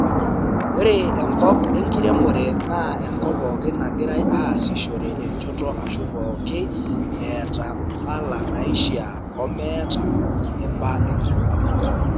ore enkop e nkiremore naa enkop pooki nagirai aasishore enchoto ashu pooki eeta mpala naishia o meeta eba eneba.